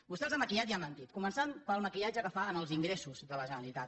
vostè els ha maquillat i ha mentit començant pel maquillatge que fa als ingressos de la generalitat